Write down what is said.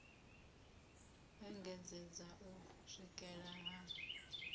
u engedzedza u swikela ha